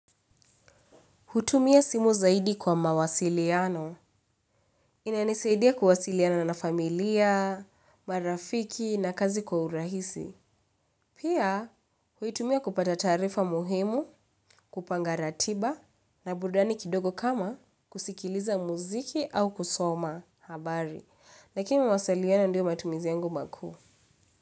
Hutumia simu zaidi kwa mawasiliano. Inanisaidia kuwasiliana na familia, marafiki na kazi kwa urahisi. Pia, huitumia kupata taarifa muhimu, kupanga ratiba na burudani kidogo kama kusikiliza muziki au kusoma habari. Lakini mawasiliano ndiyo matumizi yangu makuu.